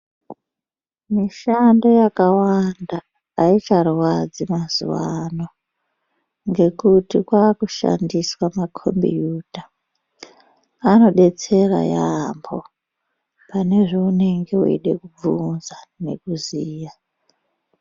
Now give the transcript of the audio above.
Mishando yakawanda haicharwadzi mazuva ano ngekuti kwakushandiswa makombiyuta. Anobetsera yaamho pane zvaunenge veida kubvunza nekuziya.